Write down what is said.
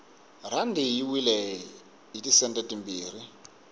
rhandi yi wile hiti sente timbirhi